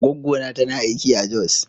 Goggona tana aiki a Jos.